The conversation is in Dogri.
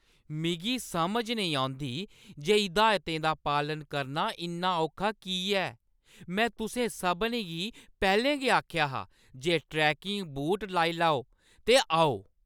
मिगी समझ नेईं औंदी जे हिदायतें दा पालन करना इन्ना औखा की ऐ। में तुसें सभनें गी पैह्‌लें गै आखेआ हा जे ट्रैकिंग बूट लाई लैओ ते आओ।